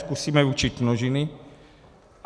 Zkusíme učit množiny.